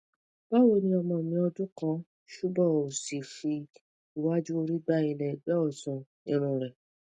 bawoni ọmọ mi ọdun kan subo osi fi waju ori gba ile ẹgbẹ ọtun irun rẹ̀